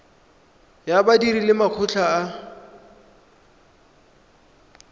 ya badiri le makgotla a